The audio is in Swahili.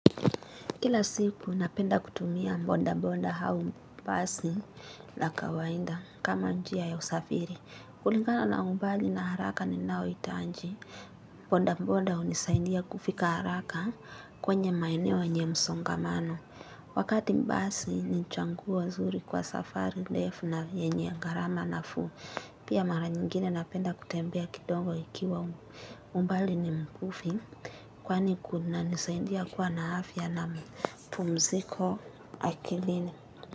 Kila siku napenda kutumia mbonda mbonda hau mbasi na kawainda kama njia ya usafiri. Kulingana na umbali na haraka ninao itanji. Mbonda mbonda unisaindia kufika haraka kwenye maeneo yenye msongamano. Wakati mbasi ni nchanguo zuri kwa safari, ndefu na yenye garama nafuu. Pia mara nyingine napenda kutembea kidongo ikiwa umbali ni mbufi. Kwani kuna nisaindia kuwa na afya na mipumziko akilini.